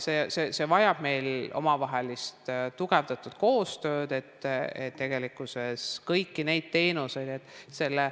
See vajab omavahelist tugevdatud koostööd, et tegelikkuses saadaks kõiki neid teenuseid.